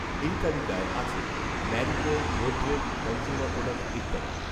এই তালিকায় আছে ম্যারিকো, গোদরেজ, কনজ্যুমার প্রোডাক্টস ইত্যাদি